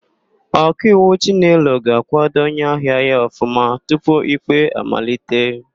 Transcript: Ọkaiwu Chinelo ga-àkwádo onyeahịa ya ọfụma tupu ikpe amalite.